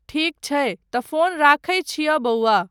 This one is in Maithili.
ठीक छै तँ फ़ोन रखैत छिअ बउवा।